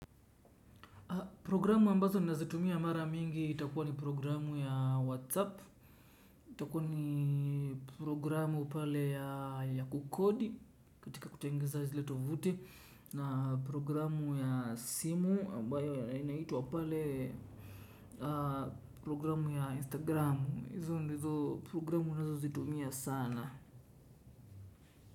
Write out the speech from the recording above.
Program ambazo ninazitumia mara mingi itakua ni program ya WhatsApp itakua ni program pale ya kukodi katika kutengeza zile tovuti na program ya simu ambayo inaitwa pale program ya Instagram, hizo ndizo program ninazo zitumia sana.